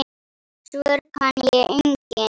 Svör kann ég engin.